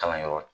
Kalanyɔrɔ